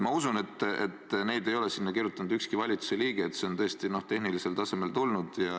Ma usun, et neid ei ole sinna kirjutanud ükski valitsuse liige, et see on tõesti, noh, tehnilisel tasandil tulnud.